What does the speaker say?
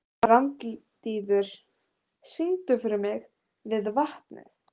Randíður, syngdu fyrir mig „Við vatnið“.